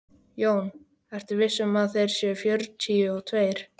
JÓN: Ertu viss um að þeir séu fjörutíu og tveir?